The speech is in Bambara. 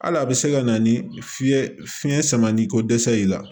Hali a bɛ se ka na ni fiɲɛ fiɲɛ sama ni ko dɛsɛ y'i la